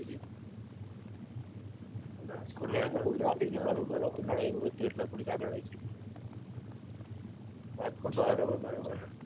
traffic ને વાફિક બહુ હતું નડે એવું હતું એટલે થોડીક આગળ રાખી રાજકોટ બાર